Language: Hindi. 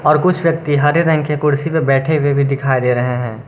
और कुछ व्यक्ति हरे रंग के कुर्सी पर बैठे हुए भी दिखाई दे रहे हैं।